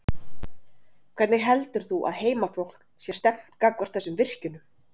Hvernig heldur þú að heimafólk sé stemmt gagnvart þessum virkjunum?